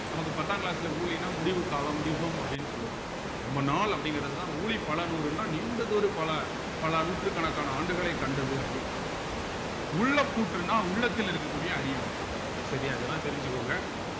நமக்கு பத்தாங் class ல ஊழின்னா முடிவு காலம் யுகம் அப்படின்னு சொல்லுவாங்க ரொம்ப நாள் அப்படிங்கிறதுதான் ஊழி பல நூறுன்னா நீண்டதொரு பல பல நூற்றுக்கணக்கான ஆண்டுகளை கண்டது அப்படின்னு அர்த்தம் உள்ளப்பூட்டுன்னா உள்ளத்தில் இருக்கக்கூடிய அறியாமை சரியா இதெல்லாம் தெரிஞ்சுக்கோங்க